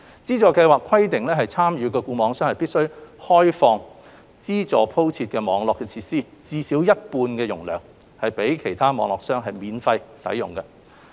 資助計劃規定參與的固網商必須開放獲資助鋪設的網絡設施至少一半的容量予其他固網商免費使用。